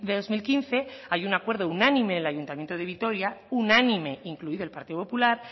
dos mil quince hay un acuerdo unánime en el ayuntamiento de vitoria unánime incluido el partido popular